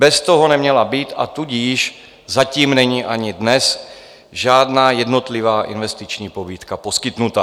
Bez toho neměla být - a tudíž zatím není ani dnes - žádná jednotlivá investiční pobídka poskytnuta.